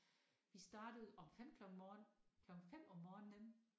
Vi startede om 5 klokken morgen klokken 5 om morgenen